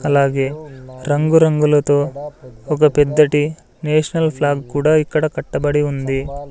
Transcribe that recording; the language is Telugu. అలాగే రంగురంగులతో ఒక పెద్దటి నేషనల్ ఫ్లాగ్ కూడా ఇక్కడ కట్టబడి ఉంది.